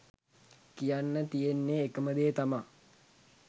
කියන්න තියෙන්නෙ එකම දේ තමා